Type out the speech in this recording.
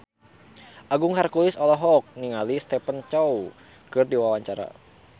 Agung Hercules olohok ningali Stephen Chow keur diwawancara